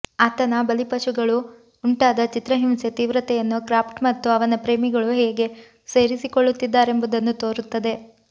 ಆತನ ಬಲಿಪಶುಗಳು ಉಂಟಾದ ಚಿತ್ರಹಿಂಸೆ ತೀವ್ರತೆಯನ್ನು ಕ್ರಾಫ್ಟ್ ಮತ್ತು ಅವನ ಪ್ರೇಮಿಗಳು ಹೇಗೆ ಸೇರಿಕೊಳ್ಳುತ್ತಿದ್ದಾರೆಂಬುದನ್ನು ತೋರುತ್ತದೆ